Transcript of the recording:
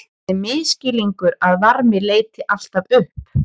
Það er misskilningur að varmi leiti alltaf upp.